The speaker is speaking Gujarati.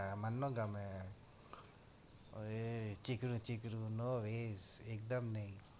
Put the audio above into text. હા મન નો ગમે ઓય ચીકણું ચીકણું no way એકદમ નઈ